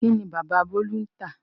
Kín ni bàbá Olú ń tà?